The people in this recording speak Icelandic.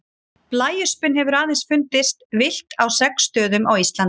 Blæöspin hefur aðeins fundist villt á sex stöðum á Íslandi.